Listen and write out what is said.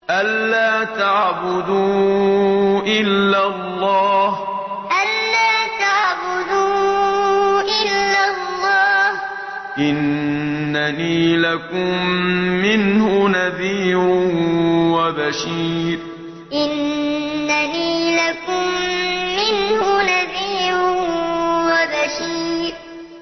أَلَّا تَعْبُدُوا إِلَّا اللَّهَ ۚ إِنَّنِي لَكُم مِّنْهُ نَذِيرٌ وَبَشِيرٌ أَلَّا تَعْبُدُوا إِلَّا اللَّهَ ۚ إِنَّنِي لَكُم مِّنْهُ نَذِيرٌ وَبَشِيرٌ